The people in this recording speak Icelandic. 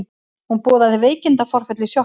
Hún boðaði veikindaforföll í sjoppunni.